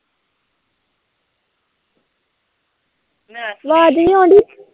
ਅਵਾਜ ਨੀ ਆਉਂਦੀ